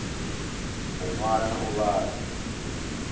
u ṅwala na u vhala